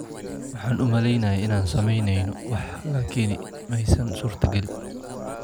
Waxaan u maleynayay inaan sameyneyno wax laakiin ma aysan suurtagelin.